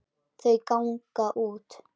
Þau ganga út.